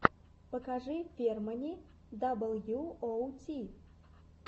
покажи фермани даблюоути